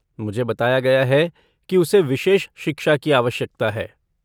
मुझे बताया गया है कि उसे विशेष शिक्षा की आवश्यकता है।